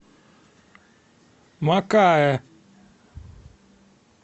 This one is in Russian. макаэ